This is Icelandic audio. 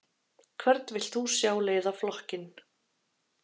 Hvern vilt þú sjá leiða flokkinn?